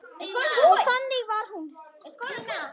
Og þannig var hún.